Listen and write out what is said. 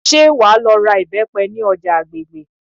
ṣe wa lo ra ìbépe ni oja agbègbè